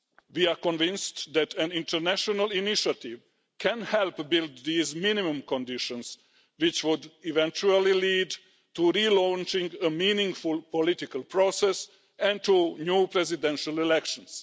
We are convinced that an international initiative can help build these minimum conditions, which would eventually lead to relaunching a meaningful political process and to new presidential elections.